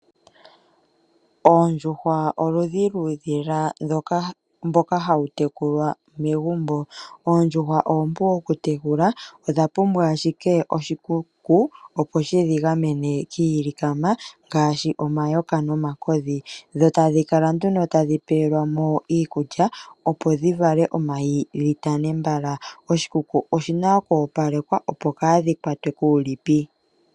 Oondjuhwa oludhi luudhila mboka hawu tekulwa megumbo. Oondjuhwa oompu okutekulwa odha pumbwa ashike oshikuku opo shidhi gamene kiilikama ngaashi omayoka nomakodhi. Dho tadhi kala nduno tadhi pewelwamo iikulya opo dhi vale omayi dhi tane mbala. Oshikuku oshina oku opalekwa opo kadhi kwatwe kuulipi.